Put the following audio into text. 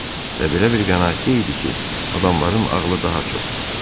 Və belə bir qənaətdə idi ki, adamların ağılı daha çoxdur.